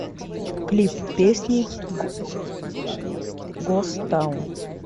клип песни гост таун